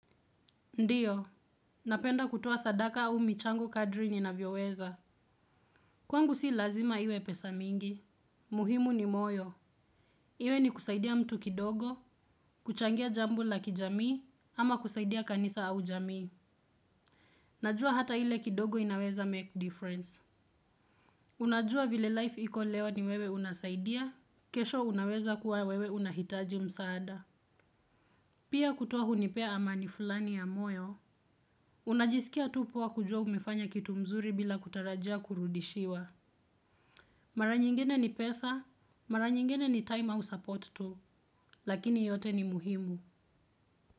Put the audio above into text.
Ndiyo, napenda kutoa sadaka au michango kadri nina vyoweza. Kwangu si lazima iwe pesa mingi. Muhimu ni moyo. Iwe ni kusaidia mtu kidogo, kuchangia jambo la kijamii, ama kusaidia kanisa au jamii. Najua hata ile kidogo inaweza make difference. Unajua vile life iko leo ni wewe unasaidia, kesho unaweza kuwa wewe unahitaji msaada. Pia kutoa hunipea ama ni fulani ya moyo. Unajisikia tu poa kujua umefanya kitu mzuri bila kutarajia kurudishiwa. Mara nyingine ni pesa, mara nyingine ni time au support tu, lakini yote ni muhimu.